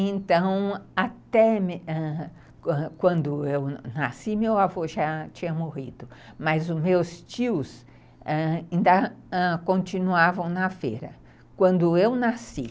Então, quando eu nasci, meu avô já tinha morrido, mas os meus tios, ãh, ainda continuavam na feira, quando eu nasci.